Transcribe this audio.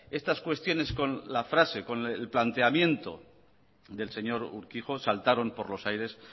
estas cuestiones con la frase con el planteamiento del señor urkijo saltaron por los aires